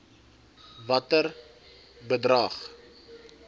watter bedrag